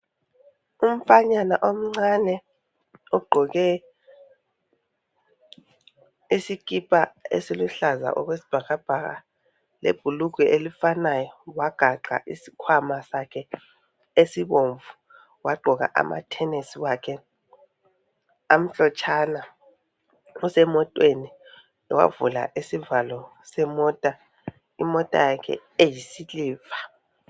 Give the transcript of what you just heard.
Umfanyana omncane ogqoke isikipa esiluhlaza okwesibhakabhaka lebhulugwe elifanayo wagaxa isikhwama sakhe esibomvu wagqoka amathenesi wakhe amhlotshana usemotweni wavula isivalo semota imota yakhe eyisiliva.